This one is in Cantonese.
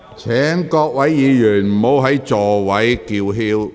請各位議員停止在席上叫喊。